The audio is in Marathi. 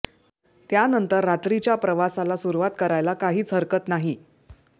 त्यानंतर रात्रीच्या प्रवासाला सुरूवात करायला काहीच हरकत नाही